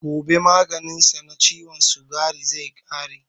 Gobe maganin sa na ciwon sikari zai ƙare.